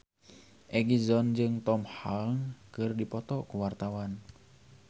Egi John jeung Tom Hanks keur dipoto ku wartawan